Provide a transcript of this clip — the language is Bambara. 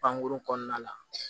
Pankurun kɔnɔna la